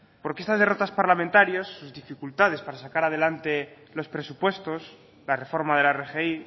porque esas derrotas parlamentarias y dificultades para sacar a adelante los presupuestos la reforma de la rgi